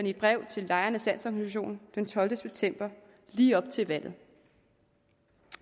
i et brev til lejernes landsorganisation den tolvte september lige op til valget